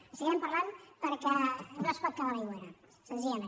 en seguirem parlant perquè no es pot quedar a l’aigüera senzillament